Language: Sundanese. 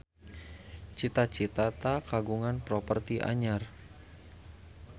Cita Citata kagungan properti anyar